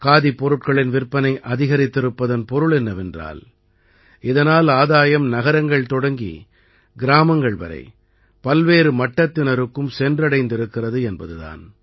காதிப் பொருட்களின் விற்பனை அதிகரித்திருப்பதன் பொருள் என்னவென்றால் இதனால் ஆதாயம் நகரங்கள் தொடங்கி கிராமங்கள் வரை பல்வேறு மட்டத்தினருக்கும் சென்றடைந்திருக்கிறது என்பது தான்